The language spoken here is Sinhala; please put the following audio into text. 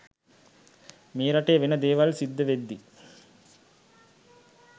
මේ රටේ වෙන දේවල් සිද්ධ වෙද්දි